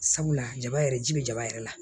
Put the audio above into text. Sabula jama yɛrɛ ji be jaba yɛrɛ la